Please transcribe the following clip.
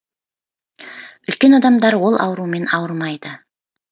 үлкен адамдар ол аурумен ауырмайды